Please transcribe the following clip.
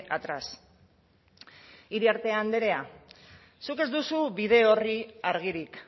atrás iriarte andrea zuk ez duzu bide orri argirik